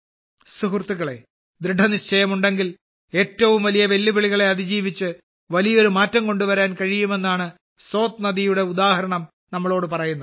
സുഹൃത്തുക്കളേ ദൃഢനിശ്ചയമുണ്ടെങ്കിൽ ഏറ്റവും വലിയ വെല്ലുവിളികളെ അതിജീവിച്ച് വലിയൊരു മാറ്റം കൊണ്ടുവരാൻ കഴിയുമെന്നാണ് സോത് നദിയുടെ ഉദാഹരണം നമ്മോട് പറയുന്നത്